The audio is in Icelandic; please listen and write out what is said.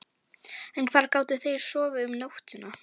En hvar gátu þeir sofið um nóttina?